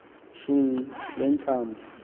shunqu le ntambo